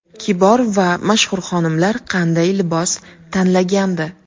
Kibor va mashhur xonimlar qanday libos tanlagandi?